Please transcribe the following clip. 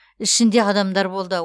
ішінде адамдар болды